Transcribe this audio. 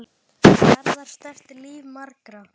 Garðar snerti líf margra.